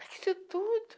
Para que isso tudo?